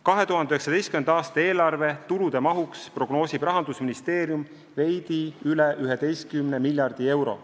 2019. aasta eelarve tulude mahuks prognoosib Rahandusministeerium veidi üle 11 miljardi euro.